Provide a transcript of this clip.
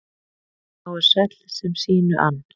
Sá er sæll sem sínu ann.